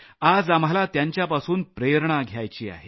आज आम्हाला त्यांच्यापासून प्रेरणा घ्यायची आहे